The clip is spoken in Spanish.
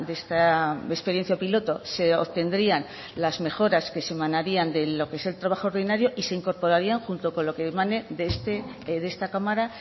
esta experiencia piloto se obtendrían las mejoras que se emanarían de lo que es el trabajo ordinario y se incorporarían junto con lo que emane de esta cámara